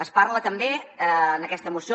es parla també en aquesta moció